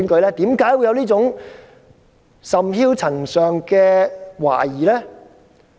為何會有這種甚囂塵上的懷疑呢？